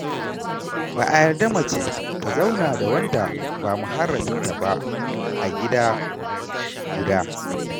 Ba a yarda mace ta zauna da wanda ba muharraminta ba a gida guda.